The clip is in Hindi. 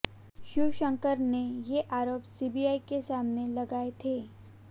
शिवशंकरन ने ये आरोप सीबीआई के सामने लगाए थे